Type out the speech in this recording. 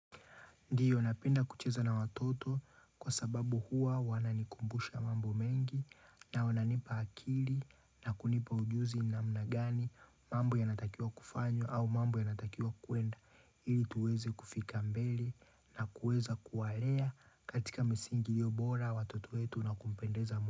Ndiyo napenda kucheza na watoto kwa sababu huwa wananikumbusha mambo mengi na wananipa akili na kunipa ujuzi namna gani mambo yanatakiwa kufanywa au mambo yanatakiwa kuenda ili tuweze kufika mbele na kuweza kuwalea katika misingi iliyobora watoto wetu na kupendeza.